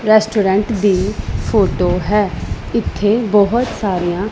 restaurant ਦੀ photo ਹੈ ਇੱਥੇ ਬਹੁਤ ਸਾਰੀਆਂ --